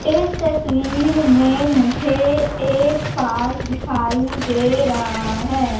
इस तस्वीर में मुझे एक पार्क दिखाई दे रहा है।